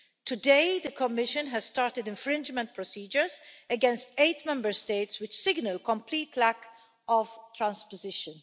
Today, the Commission has started infringement procedures against eight Member States which are signalling a complete lack of transposition.